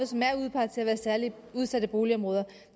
som er udpeget til at være særligt udsatte boligområder